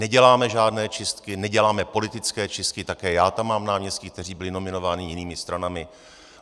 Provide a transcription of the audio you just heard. Neděláme žádné čistky, neděláme politické čistky, také já tam mám náměstky, kteří byli nominováni jinými stranami.